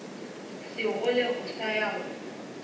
segole o sa ya go